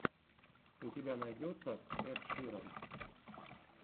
у тебя найдется эд ширан